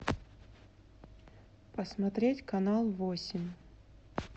посмотреть канал восемь